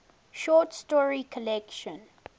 short story collection